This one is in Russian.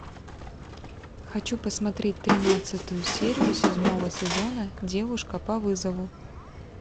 хочу посмотреть тринадцатую серию седьмого сезона девушка по вызову